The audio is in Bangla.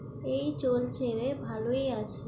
এই চলছে রে, ভালোই আছি।